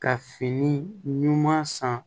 Ka fini ɲuman san